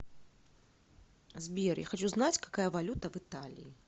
сбер я хочу знать какая валюта в италии